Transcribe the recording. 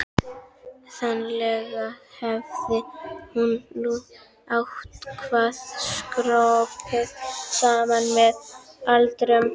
Sennilega hafði hann nú eitthvað skroppið saman með aldrinum.